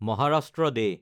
Maharashtra day